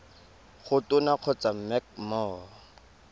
go tona kgotsa mec mo